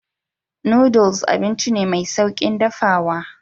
Noodles abinci ne mai sauƙin dafawa.